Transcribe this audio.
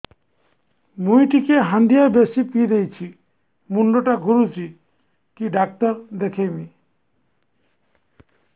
ମୁଇ ଟିକେ ହାଣ୍ଡିଆ ବେଶି ପିଇ ଦେଇଛି ମୁଣ୍ଡ ଟା ଘୁରୁଚି କି ଡାକ୍ତର ଦେଖେଇମି